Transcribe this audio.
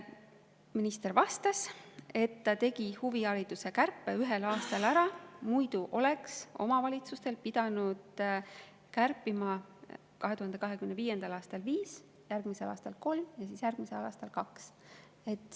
Minister vastas, et ta tegi huvihariduse kärpe ühel aastal ära, muidu oleks omavalitsuste pidanud kärpima 2025. aastal 5%, järgmisel aastal 3% ja siis järgmisel aastal 2%.